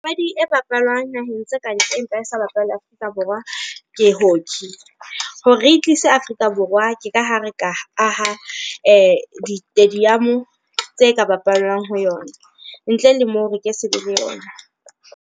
Papadi e bapalwang naheng tse kantle empa e sa bapale Afrika Borwa, ke hockey. Hore re e tlise Afrika Borwa ke ka ha re ka aha di-stadium tse ka bapallwang ho yona. Ntle le moo re ke sebe le yona.